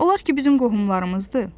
Onlar ki bizim qohumlarımızdır.